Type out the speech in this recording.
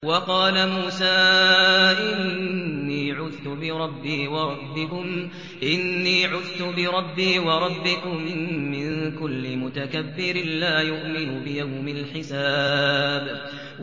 وَقَالَ مُوسَىٰ إِنِّي عُذْتُ بِرَبِّي وَرَبِّكُم مِّن كُلِّ مُتَكَبِّرٍ لَّا يُؤْمِنُ بِيَوْمِ الْحِسَابِ